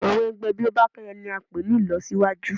Àwọn ẹgbẹ́ Bọ́bakẹ́yẹ̀ ni a ń pè ní ìlọsíwájú.